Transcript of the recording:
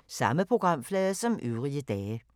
Samme programflade som øvrige dage